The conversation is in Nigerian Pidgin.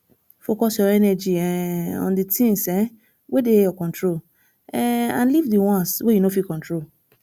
focus your energy um on di things um wey dey your control um and leave di ones wey you no fit control